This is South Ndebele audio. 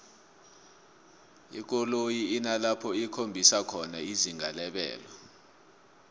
ikoloyi inalapho ikhombisa khona izinga lebelo